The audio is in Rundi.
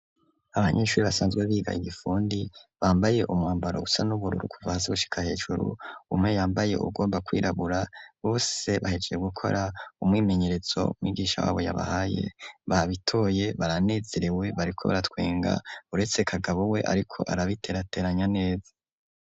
Abanyeshuri basanzwe biga igifundi bambaye umwambara usa n'ubururu kuva hasi gushika hejuru, umwe yambaye uwugomba kw’irabura bose bahejeje gukora umwimenyerezo mwigisha wabo yabahaye babitoye baranezerewe bariko baratwenga ,uretse kagabo we ariko arabiterateranya neza.